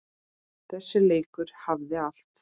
Þessi leikur hafði allt.